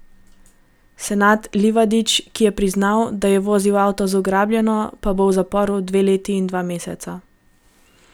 Senad Livadić, ki je priznal, da je vozil avto z ugrabljeno, pa bo v zaporu dve leti in dva meseca.